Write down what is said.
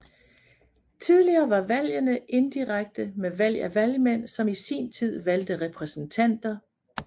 Tidligere var valgende indirekte med valg af valgmænd som i sin tid valgte repræsentanter